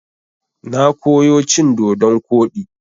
Na koyo cin dodon koɗi.